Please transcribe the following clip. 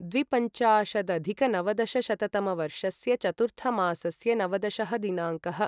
द्विपञ्चाशदधिकनवदशशततमवर्षस्य चतुर्थमासस्य नवदशः दिनाङ्कः